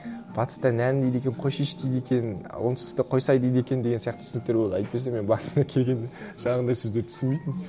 батыста нән дейді екен қойшиш дейді екен оңтүстікте қойсай дейді екен деген сияқты түсініктер болды әйтпесе мен басында келгенде жаңағындай сөздерді түсінбейтінмін